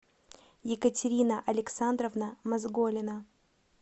екатерина александровна мазголина